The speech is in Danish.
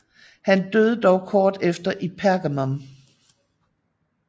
Han døde dog kort efter i Pergamum